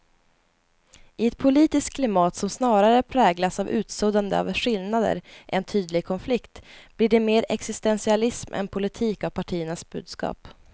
I ett politiskt klimat som snarare präglas av utsuddande av skillnader än tydlig konflikt blir det mer existentialism än politik av partiernas budskap.